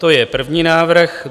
To je první návrh.